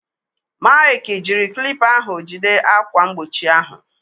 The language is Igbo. Maịkị jiri klipa ahụ jide ákwà mgbochi ahụ.